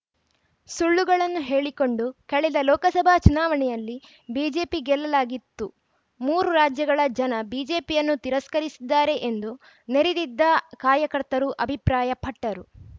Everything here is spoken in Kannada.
ಸುಳ್ಳುಗಳನ್ನು ಹೇಳಿಕೊಂಡು ಕಳೆದ ಲೋಕಸಭಾ ಚುನಾವಣೆಯಲ್ಲಿ ಬಿಜೆಪಿ ಗೆಲ್ಲಲಾಗಿತ್ತು ಮೂರು ರಾಜ್ಯಗಳ ಜನ ಬಿಜೆಪಿಯನ್ನು ತಿರಸ್ಕರಿಸಿದ್ದಾರೆ ಎಂದು ನೆರೆದಿದ್ದ ಕಾರ್ಯಕರ್ತರು ಅಭಿಪ್ರಾಯ ಪಟ್ಟರು